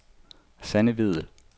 Sanne Vedel